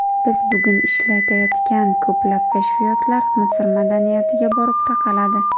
Biz bugun ishlatayotgan ko‘plab kashfiyotlar Misr madaniyatiga borib taqaladi.